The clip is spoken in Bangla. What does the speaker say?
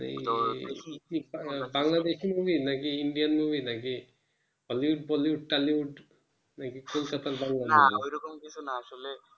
এই বাংলাদেশী movie না কি ইন্ডিয়ান movie না কি hollywood bollywood tollywood না কি কলকাতার বাংলা movie